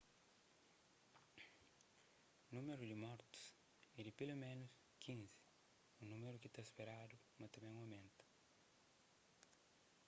númeru di mortus é di peloménus 15 un númeru ki ta speradu ma ta ben omenta